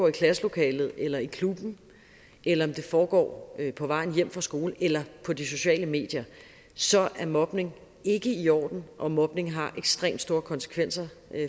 i klasselokalet eller i klubben eller om det foregår på vej hjem fra skole eller på de sociale medier så er mobning ikke i orden og mobning har ekstremt store konsekvenser